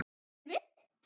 Bíddu við.